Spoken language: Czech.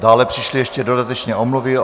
Dále přišly ještě dodatečně omluvy.